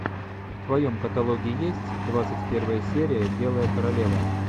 в твоем каталоге есть двадцать первая серия белая королева